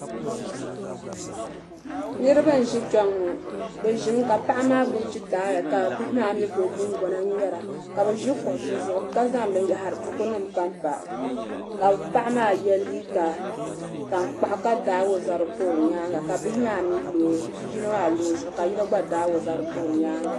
niriba n-ʒi kpe ŋɔ bɛ ʒimi ka paɣa maa gbubi gitaaya ka bihi maa mi gbubi guŋgona ŋmɛra ka bɛ ʒi kuɣisi zuɣu ka zaŋ bukunima pa m-pa ka paɣa maa ye liiga tankpaɣu ka daai o zabiri pa o nyaaga ka bi' yino maa lɔ o zuɣu ka yino gba daai o zabiri pa o nyaaga.